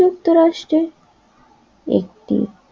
যুক্তরাষ্ট্রের একটি